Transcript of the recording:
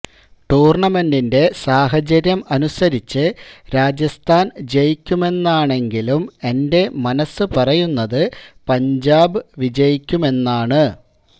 ടൂര്ണമെന്റിന്റെ സാഹചര്യം അനുസരിച്ച് രാജസ്ഥാന് ജയിക്കുമെന്നാണെങ്കിലും എന്റെ മനസ് പറയുന്നത് പഞ്ചാബ് വിജയിക്കുമെന്നാണ്